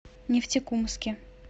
нефтекумске